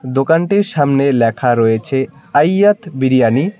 দোকানটির সামনে ল্যাখা রয়েছে আইয়াত বিরিয়ানি ।